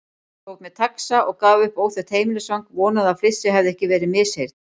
Tók mér taxa og gaf upp óþekkt heimilisfang, vonaði að flissið hefði ekki verið misheyrn.